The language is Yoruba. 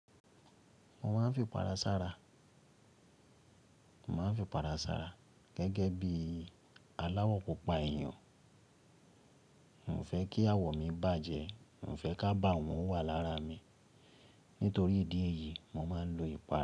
Mo máa ń fi ìpara sara, mo máa ń f'ìpara sara gẹ́gẹ́ bí aláwọ̀ pupa èèyàn. Mio fẹ́ kí àwọ̀ mi bàjẹ́, mio fẹ́ k'ábawọ́n wà lára mi. Nítorí ìdí èyí, mo máa ń lo ìpara.